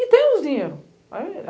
E tem os dinheiros.